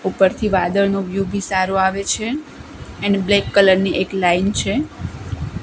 ઉપરથી વાદળનો વ્યુ બી સારો આવે છે એન્ડ બ્લેક કલર ની એક લાઇન છે.